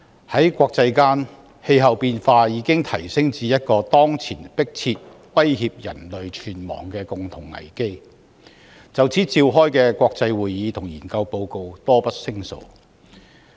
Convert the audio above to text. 在國際間，氣候變化已經提升至一個當前迫切威脅人類存亡的共同危機，就此召開的國際會議和撰寫的研究報告多不勝數。